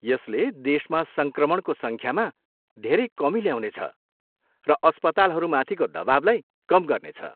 यसले देशमा सङ्क्रमणको सङ्ख्यामा धेरै कमी ल्याउनेछ र अस्पतालहरूमाथिको दबाबलाई कम गर्नेछ।